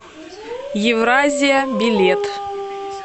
евразия билет